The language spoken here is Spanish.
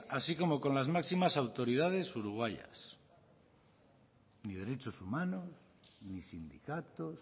así como con las máximas autoridades uruguayas ni derechos humanos ni sindicatos